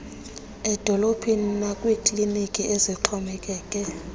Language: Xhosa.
ezidolophini nakwiikliniki ezixhomekeke